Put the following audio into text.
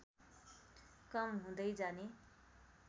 कम हुँदै जाने